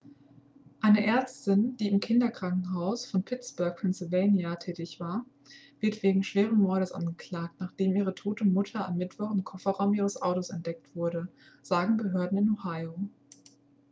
eine ärztin die im kinderkrankenhaus von pittsburgh pennsylvania tätig war wird wegen schweren mordes angeklagt nachdem ihre tote mutter am mittwoch im kofferraum ihres autos entdeckt wurde sagen behörden in ohio